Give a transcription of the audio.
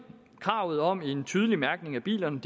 kravet om en tydelig mærkning af bilerne